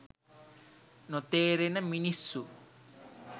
නොතේරෙන මිනිස්සු.